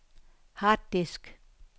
harddisk